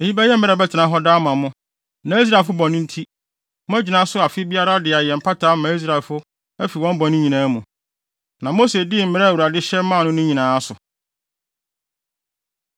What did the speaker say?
“Eyi bɛyɛ mmara a ɛbɛtena hɔ daa ama mo, na Israelfo bɔne nti, moagyina so afe biara de ayɛ mpata ama Israelfo afi wɔn bɔne nyinaa mu.” Na Mose dii mmara a Awurade hyɛ maa no no nyinaa so.